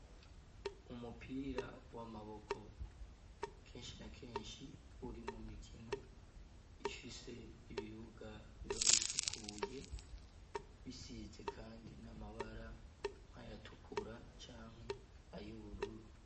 Umupira w'amaboko kenshi na kenshi uri mu mikino ifise ibibuga biba bisukuye bisize kandi n'amabara nkayatukura canke ayubururu.